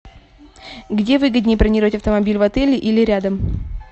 где выгоднее бронировать автомобиль в отеле или рядом